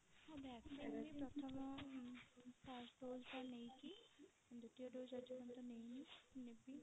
ହଁ vaccine ବି ପ୍ରଥମ first dose ତ ନେଇଛି ଦୁତୀୟ dose ଟା ଆଜି ପର୍ଯ୍ୟନ୍ତ ନେଇନି ନେବି